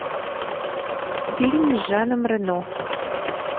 фильм с жаном рено